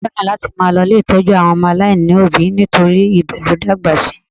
Ọkọ mi fẹ́ràn láti máa lọ ilé ìtọ́jú àwọn ọmọ aláìní òbí nítorí ibẹ̀ ni ó dàgbà sí